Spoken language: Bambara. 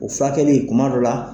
O furakɛli kuma dɔ la.